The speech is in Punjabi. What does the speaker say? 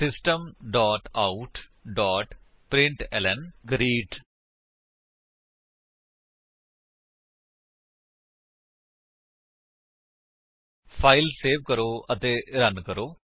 system out println 160 file save ਕਰੋ ਅਤੇ ਰਨ ਕਰੋ